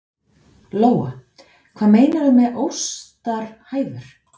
Lóa: Hvað meinarðu með óstarfhæfur?